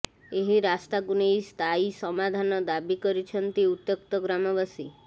ଏହି ରାସ୍ତାକୁ ନେଇ ସ୍ଥାୟୀ ସମାଧାନ ଦାବୀ କରିଛନ୍ତି ଉତ୍ୟକ୍ତ ଗ୍ରାମବାସୀ